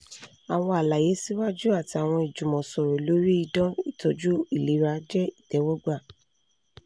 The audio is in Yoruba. awọn alaye siwaju ati awọn ijumọsọrọ lori idan itọju ilera jẹ itẹwọgba